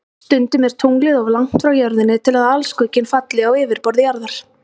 Stundum er tunglið of langt frá Jörðinni til að alskugginn falli á yfirborð Jarðar.